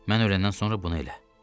Mən öləndən sonra bunu elə.